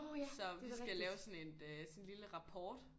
Så vi skal lave sådan et øh sådan en lille rapport